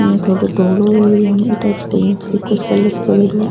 इया थोड़ो धोलो इ टाइप्स को कोई कलर सो करियोडो है।